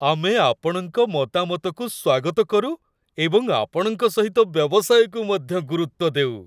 ଆମେ ଆପଣଙ୍କ ମତାମତକୁ ସ୍ଵାଗତ କରୁ ଏବଂ ଆପଣଙ୍କ ସହିତ ବ୍ୟବସାୟକୁ ମଧ୍ୟ ଗୁରୁତ୍ୱ ଦେଉ।